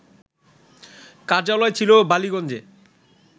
কার্যালয় ছিল বালিগঞ্জে